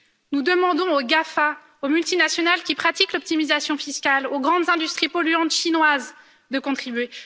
Nous demandons aux GAFA, aux multinationales qui pratiquent l'optimisation fiscale, aux grandes industries polluantes chinoises de contribuer.